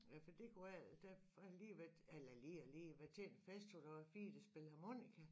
Ja for det kunne være der har lige været eller lige og lige været til en fest hvor der var 4 der spillede harmonika